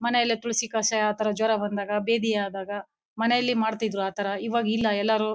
ಮನೇಲೇ ತುಳಸಿ ಕಷಾಯ ಆತರ ಜ್ವರ ಬಂದಾಗ ಬೇದಿ ಆದಾಗ ಮನೆಯಲ್ಲಿ ಮಾಡ್ತಿದ್ರು ಆ ತರ ಇವಾಗ ಇಲ್ಲಾ ಎಲ್ಲಾರು --